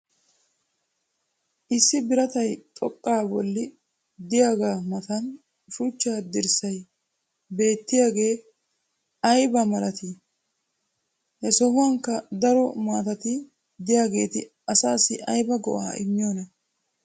issi birattay xoqaa bolli diyaaga matan shuchcha dirssay beettiyagee ayiba malatii? he sohuwankka daro maatatti diyaageeti asaassi ayba go'aa immiyoonaa?